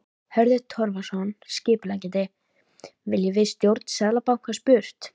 Hörður Torfason, skipuleggjandi: Viljum við stjórn Seðlabankans burt?